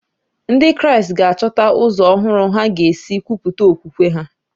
Ndị Kraịst ga-achọta ụzọ ọhụrụ ha ga-esi kwupụta okwukwe ha.